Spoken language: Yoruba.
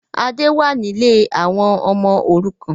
Adé wá ní lè àwọn ọmọ òrukàn